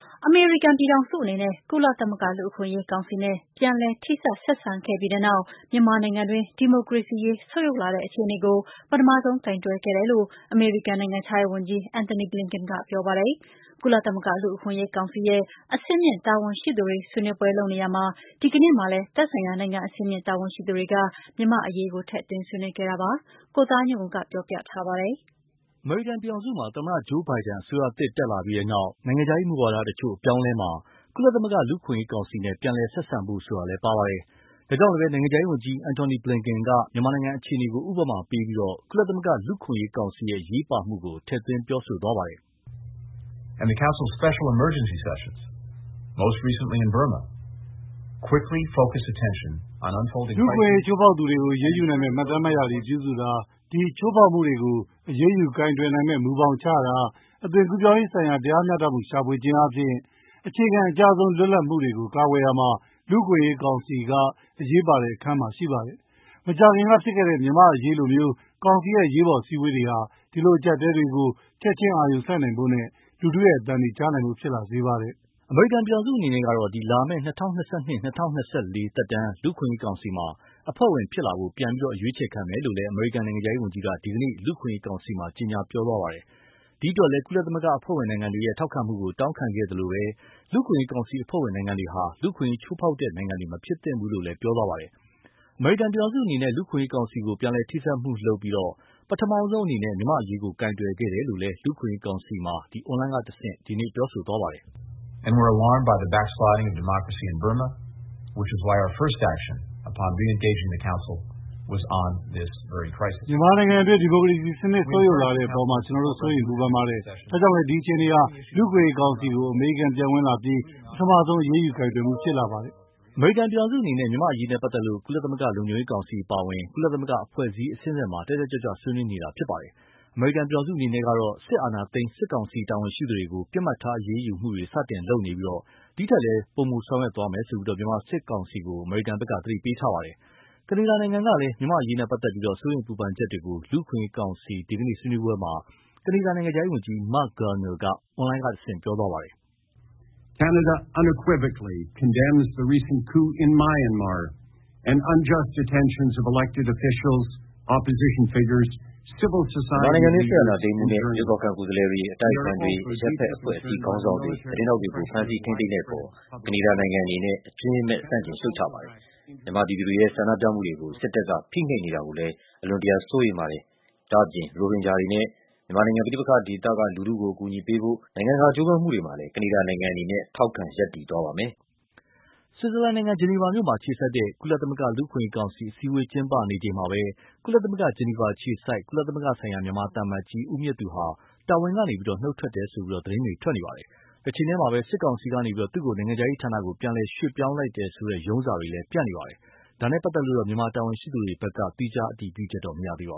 အမေရိကန်ပြည်ထောင်စုအနေနဲ့ ကုလသမဂ္ဂ လူ့အခွင့်အရေးကောင်စီနဲ့ ပြန်လည်ထိစပ်ဆက်ဆံခဲ့ပြီးနောက် မြန်မာနိုင်ငံတွင်း ဒီမိုကရေစီအခြေအနေ ဆုတ်ယုတ်လာတဲ့အခြေအနေကို ပထမဆုံးကိုင်တွယ်ခဲ့တယ်လို့ အမေရိကန်နိုင်ငံခြားရေးဝန်ကြီး Anthony Blinken က ပြောပါတယ်။ ကုလသမဂ္ဂလူ့အခွင့်အရေးကောင်စီရဲ့ အဆင့်မြင့်တာဝန်ရှိသူတွေဆွေးနွေးပွဲလုပ်နေရာမှာ ဒီနေ့မှာလည်း သက်ဆိုင်ရာနိုင်ငံအဆင့်မြင့်တာဝန်ရှိသူတွေက မြန်မာ့အရေးက ထည့်သွင်းဆွေးနွေးခဲ့တာပါ။ ကိုသားညွန့်ဦး ပြောပြပါလိမ့်မယ်။ အမေရိကန်ပြည်ထောင်စုမှာ သမ္မတ Joe Biden အစိုးရသစ်တက်လာပြီး နိုင်ငံခြားရေးမူဝါဒ တချို့အပြောင်းအလဲမှာ၊ ကုလသမဂ္ဂ လူ့အခွင့်အရေးကောင်စီနဲ့ ပြန်လည်ဆက်ဆံဖို့ဆိုတာလည်း ပါဝင်ပါတယ်။ ဒါကြောင့်လည်း နိုင်ငံခြားရေးဝန်ကြီး Anthony Blinken က မြန်မာနိုင်ငံအခြေအနေကို ဥပမာပြပြီး ကုလသမဂ္ဂလူ့အခွင့်အရေးကောင်စီရဲ့ အရေးပါမှုကို ထည့်သွင်းပြောဆိုသွားပါတယ်။ “လူ့အခွင့်အရေး ချိုးဖောက်သူတွေကို အရေးယူနိုင်မယ့် မှတ်တမ်းမှတ်ရာတွေပြုစုတာ၊ ဒီချိုးဖောက်မှုတွေကို အရေးယူကိုင်တွယ်နိုင်မယ့်မူဘောင်ချတာ၊ အသွင်ကူးပြောင်းရေးဆိုင်ရာ တရားမျှတမှု ရှာဖွေခြင်းအားဖြင့် အခြေခံအကျဆုံး လွတ်လပ်မှုတွေကို ကာကွယ်ရာမှာ လူ့အခွင့်အရေးကောင်စီက အရေးပါတဲ့အခန်းမှာ ရှိပါတယ်။ မကြာခင်ကဖြစ်ခဲ့တဲ့မြန်မာ့အရေးလိုမျိုး ကောင်စီရဲ့ အရေးပေါ်အစည်းအဝေးတွေဟာ ဒီလိုအကြပ်အတည်းတွေကို ချက်ချင်းအာရုံစိုက်နိုင်ဖို့နဲ့ လူထုရဲ့အသံတွေ ကြားနိုင်ဖို့ ဖြစ်လာစေပါတယ်။” အမေရိကန်ပြည်ထောင်စုအနေနဲ့ကတော့ လာမယ့် ၂၀၂၂-၂၀၂၄ သက်တမ်း လူ့အခွင့်အရေးကောင်စီမှာ အဖွဲ့ဝင်ဖြစ်လာဖို့ ပြန်အရွေးချယ်ခံမယ်လို့လည်း အမေရိကန်နိုင်ငံခြားရေးဝန်ကြီးက ဒီကနေ့ လူ့အခွင့်အရေးကောင်စီမှာ ကြေညာပြောဆိုခဲ့ပါတယ်။ ဒီအတွက်လည်း ကုလသမဂ္ဂအဖွဲ့ဝင်နိုင်ငံတွေရဲ့ ထောက်ခံမှုကို တောင်းခံခဲ့သလို၊ လူ့အခွင့်အရေးကောင်စီအဖွဲ့ဝင်နိုင်ငံတွေဟာ လူ့အခွင့်အရေး ချိုးဖောက်တဲ့နိုင်ငံတွေ မဖြစ်သင့်ဘူးလို့လည်း ပြောသွားပါတယ်။ အမေရိကန်ပြည်ထောင်စုအနေနဲ့ လူ့အခွင့်အရေးကောင်စီကို ပြန်လည်ထိစပ်မှုလုပ်ပြီး၊ ပထမဆုံးအနေနဲ့ မြန်မာ့အရေးကို ကိုင်တွယ်ခဲ့တယ်လို့လည်း လူ့အခွင့်အရေးကောင်စီမှာ အွန်လိုင်းကတဆင့် ပြောဆိုသွားပါတယ်။ “မြန်မာနိုင်ငံတွင်း ဒီမိုကရေစီစနစ် ဆုတ်ယုတ်လာတဲ့အပေါ်မှာ ကျနော်တို့စိုးရိမ်ပူပင်ပါတယ်။ ဒါကြောင့်လည်း ဒီအခြေအနေဟာ လူ့အခွင့်အရေးကောင်စီကို အမေရိကန်ပြန်ဝင်လာပြီနောက် ပထမဆုံး အရေးယူကိုင်တွယ်မှုဖြစ်လာပါတယ်။” အမေရိကန်ပြည်ထောင်စုအနေနဲ့ မြန်မာ့အရေးနဲ့ပတ်သက်လို့ ကုလသမဂ္ဂ လုံခြုံရေးကောင်စီအပါအဝင် ကုလသမဂ္ဂအဖွဲ့အစည်းအဆင့်ဆင့်မှာ တတ်တတ်ကြွကြွ ဆွေးနွေးနေတာဖြစ်ပါတယ်။ အမေရိကန်ပြည်ထောင်စုအနေနဲ့ကတော့ စစ်အာဏာသိမ်း စစ်ကောင်စီတာဝန်ရှိသူတွေကို ပစ်မှတ်ထားအရေးယူမှုတွေ စတင်လုပ်နေပြီး၊ ဒီထက်လည်း ပိုမိုဆောင်ရွက်မယ်လို့ မြန်မာစစ်ကောင်စီကို သတိပေးထားပါတယ်။ ကနေဒါနိုင်ငံကလည်း မြန်မာ့အရေးနဲ့ ပတ်သက်လို့ စိုးရိမ်ပူပင်ချက်တွေကို လူ့အခွင့်အရေးကောင်စီ ဒီကနေ့ ဆွေးနွေးပွဲမှာ ကနေဒါနိုင်ငံခြားရေးဝန်ကြီး Marc Garneau က အွန်လိုင်းကတဆင့် ပြောသွားပါတယ်။ “မြန်မာနိုင်ငံတွင်း စစ်အာဏာသိမ်းမှုနဲ့ ရွေးကောက်ခံ ကိုယ်စားလှယ်တွေ အတိုက်အခံတွေ အရပ်ဘက်အဖွဲ့အစည်းခေါင်းဆောင်တွေ သတင်းထောက်တွေကို ဖမ်ဆီး ထိန်းသိမ်းတဲ့အပေါ် ကနေဒါနိုင်ငံအနေနဲ့ အကြွင်းမဲ့ဆန့်ကျင်ရှုတ်ချပါတယ်။ မြန်မာပြည်သူတွေရဲ့ဆန္ဒပြမှုတွေကို စစ်တပ်က ဖိနှိပ်နေတာတွေကိုလည်း အလွန်တရာစိုးရိမ်ပါတယ်။ ဒါ့အပြင် ရိုဟင်ဂျာတွေနဲ့ မြန်မာနိုင်ငံ ပဋိပက္ခဒေသက လူထုတွေကို အကူအညီပေးဖို့ နိုင်ငံတကာကြိုးပမ်းမှုတွေမှာလည်း ကနေဒါနိုင်ငံအနေနဲ့ ထောက်ခံရပ်တည်သွားပါမယ်။” ဆွီဇာလန်နိုင်ငံ ဂျနီဗာမြို့မှာအခြေစိုက်တဲ့ ကုလသမဂ္ဂ လူ့အခွင့်အရေးကောင်စီ အစည်းအဝေးကျင်းပနေချိန်မှာပဲ ကုလသမဂ္ဂ ဂျနီဗာအခြေစိုက် ကုလသမဂ္ဂဆိုင်ရာ မြန်မာသံအမတ်ကြီး ဦးမြင့်သူဟာ တာဝန်ကနေ နုတ်ထွက်တယ်လို့ သတင်းတွေ ထွက်နေပါတယ်။ တချိန်တည်းမှာ စစ်ကောင်စီကနေ သူ့ကို နိုင်ငံခြားရေးဌာနကို ပြန်လည်ရွှေ့ပြောင်းလိုက်တယ်ဆိုတဲ့ ရုံးစာတွေလည်း ပြန့်နေပါတယ်။ ဒါနဲ့ပတ်သက်လို့တော့ မြန်မာတာဝန်ရှိသူတွေဘက်က သီးခြားအတည်ပြုချက်တော့မရသေးပါ